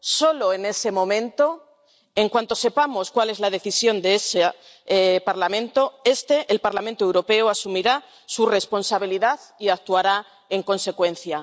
Solo en ese momento, en cuanto sepamos cuál es la decisión de ese Parlamento, este —el Parlamento Europeo— asumirá su responsabilidad y actuará en consecuencia.